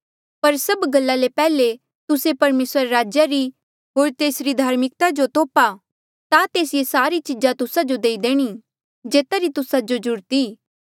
पर सभ गल्ला ले पैहले तुस्से परमेसरा रे राज्या री होर तेसरी धार्मिकता जो तोप्हा ता तेस ये सारी चीजा तुस्सा जो देणी जेता री तुस्सा जो ज्रूरत ई